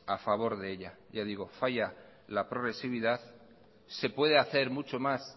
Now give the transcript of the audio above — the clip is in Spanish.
a favor de ella ya digo falla la progresividad se puede hacer mucho más